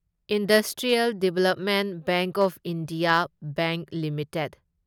industrial development bank of India bank limited